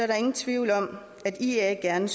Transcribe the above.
der ingen tvivl om at ia gerne